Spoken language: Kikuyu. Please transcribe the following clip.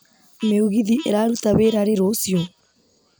mĩũgithi ĩraruta wĩra rĩ rũciũ